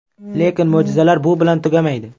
Lekin mo‘jizalar bu bilan tugamaydi.